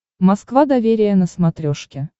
москва доверие на смотрешке